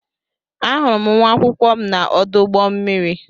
Ahụrụ m nwa akwụkwọ m na-ọdụ ụgbọ mmiri.